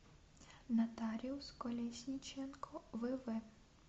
нотариус колесниченко вв